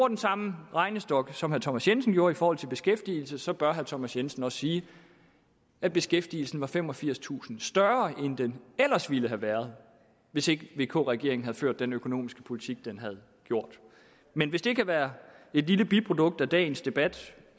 den samme regnestok som herre thomas jensen gjorde i forhold til beskæftigelse så bør herre thomas jensen også sige at beskæftigelsen var femogfirstusind større end den ellers ville have været hvis ikke vk regeringen havde ført den økonomiske politik den gjorde men hvis det kan være et lille biprodukt af dagens debat